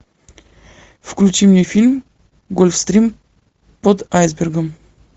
включи мне фильм гольфстрим под айсбергом